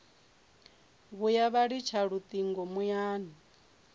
vhuya vha litsha lutingo muyani